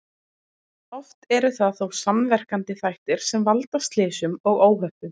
Oft eru það þó samverkandi þættir sem valda slysum og óhöppum.